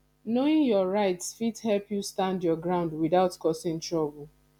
knowing your rights fit help you stand your ground without causing trouble